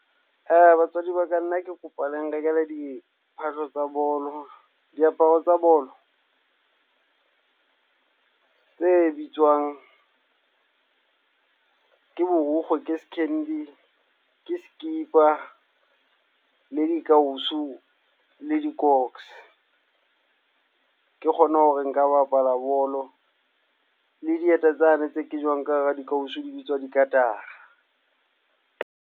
Batswadi ba ka, nna ke kopa le nrekele diphahlo tsa bolo. Diaparo tsa bolo tse bitswang ke borukgo, ke skhindi, ke skipa le dikausu, le dikoks, ke kgone hore nka bapala bolo le dieta tsane tse ke jwang ka hara dikausu di bitswa dikatara.